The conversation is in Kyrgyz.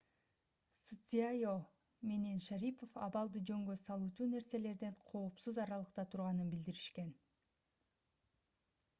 цзяо менен шарипов абалды жөнгө салуучу нерселерден коопсуз аралыкта турганын билдиришкен